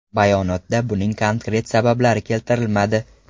Bayonotda buning konkret sabablari keltirilmadi.